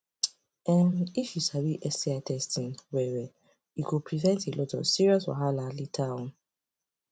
um if u sabi sti testing well well e go prevent a lot of serious wahala later on